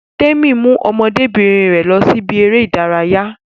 Témi mú ọmọdébìnrin rẹ lọ sí ibi eré ìdárayá